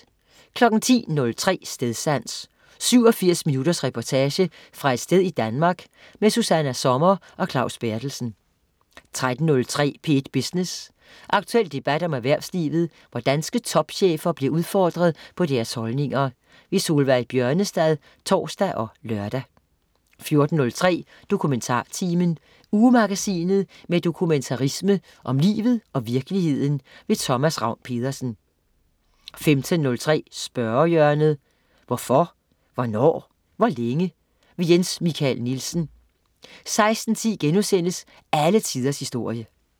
10.03 Stedsans. 87 minutters reportage fra et sted i Danmark. Susanna Sommer og Claus Berthelsen 13.03 P1 Business. Aktuel debat om erhvervslivet, hvor danske topchefer bliver udfordret på deres holdninger. Solveig Bjørnestad (tors og lør) 14.03 DokumentarTimen. Ugemagasinet med dokumentarisme om livet og virkeligheden. Thomas Ravn-Pedersen 15.03 Spørgehjørnet. Hvorfor, hvornår, hvor længe? Jens Michael Nielsen 16.10 Alle tiders historie*